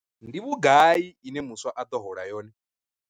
Ndi vhugai ine muswa a ḓo hola yone?